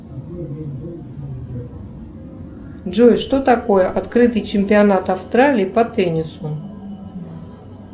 джой что такое открытый чемпионат австралии по теннису